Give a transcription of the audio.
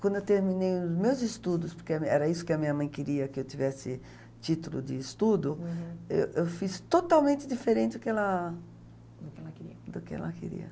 Quando eu terminei os meus estudos, porque era isso que a minha mãe queria, que eu tivesse título de estudo, uhum, eu eu fiz totalmente diferente do que ela, do que ela queria, do que ela queria.